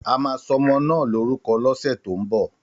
Àmà sọmọ nà lòrúkọ lọsẹ tó mbọ.